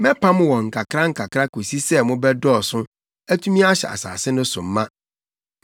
Mɛpam wɔn nkakrankakra kosi sɛ mobɛdɔɔso, atumi ahyɛ asase no so ma.